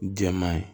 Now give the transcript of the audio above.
Jɛman ye